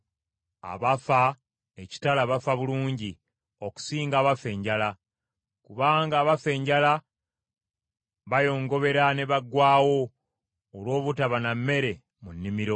Abafa ekitala bafa bulungi okusinga abafa enjala, kubanga abafa enjala bayongobera ne baggwaawo olw’obutaba na mmere mu nnimiro.